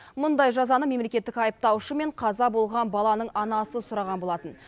мұндай жазаны мемлекеттік айыптаушы мен қаза болған баланың анасы сұраған болатын